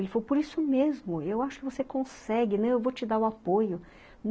Ele falou, por isso mesmo, eu acho que você consegue, né, eu vou te dar o apoio.